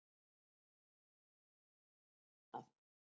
En líka má nefna annað.